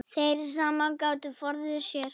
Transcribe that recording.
Þeir sem gátu forðuðu sér.